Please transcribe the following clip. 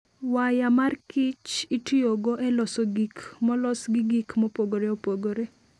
Waya mar Kich itiyogo e loso gik molos gi gik mopogore opogore.